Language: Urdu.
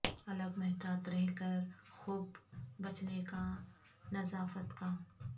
الگ محتاط رہ کر خوب بچنے کا نظافت کا